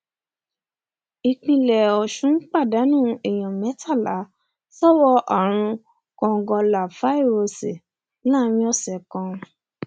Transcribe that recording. ìpínlẹ ọsùn pàdánù èèyàn mẹtàlá sọwọ àrùn kòǹgóláfàíróòsì láàrin ọsẹ kan